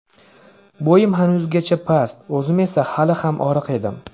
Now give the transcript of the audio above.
Bo‘yim hanuzgacha past, o‘zim esa hali ham oriq edim.